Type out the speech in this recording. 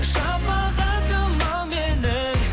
шапағатым ау менің